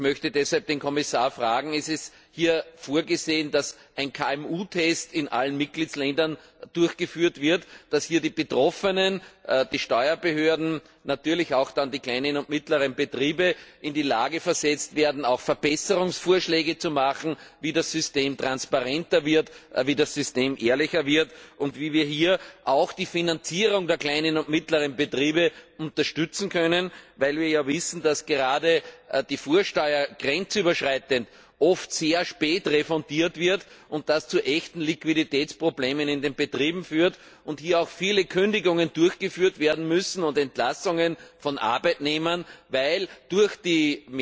Ich möchte deshalb den Kommissar fragen Ist es vorgesehen, dass hier ein KMU Test in allen Mitgliedstaaten durchgeführt wird, dass die Betroffenen, die Steuerbehörden, natürlich dann auch die kleinen und mittleren Betriebe in die Lage versetzt werden, auch Verbesserungsvorschläge zu machen, wie das System transparenter wird, wie das System ehrlicher wird und wie wir hier auch die Finanzierung der kleinen und mittleren Betriebe unterstützen können, weil wir ja wissen, dass gerade die Vorsteuer grenzüberschreitend oft sehr spät refundiert wird und das zu echten Liquiditätsproblemen in den Betrieben führt und hier auch viele Kündigungen durchgeführt werden müssen und Entlassungen von Arbeitnehmern, weil durch die